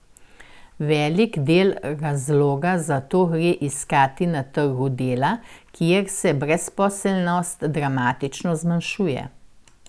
Velik del razloga za to gre iskati na trgu dela, kjer se brezposelnost dramatično zmanjšuje.